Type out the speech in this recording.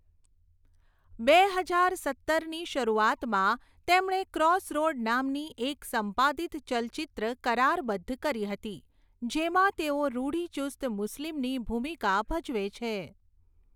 બે હજાર સત્તરની શરૂઆતમાં, તેમણે ક્રોસરોડ નામની એક સંપાદિત ચલચિત્ર કરારબદ્ધ કરી હતી, જેમાં તેઓ રૂઢિચુસ્ત મુસ્લિમની ભૂમિકા ભજવે છે.